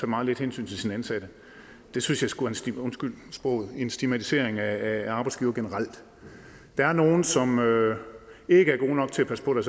meget lidt hensyn til sine ansatte synes jeg sgu undskyld sproget er en stigmatisering af arbejdsgivere generelt der er nogle som ikke er gode nok til at passe på